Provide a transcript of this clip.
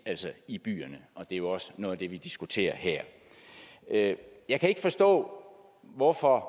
i byerne og det er jo også noget af det vi diskuterer her jeg kan ikke forstå hvorfor